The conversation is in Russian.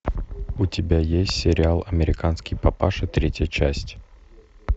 у тебя есть сериал американский папаша третья часть